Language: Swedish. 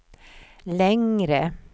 längre